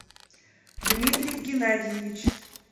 дмитрий геннадьевич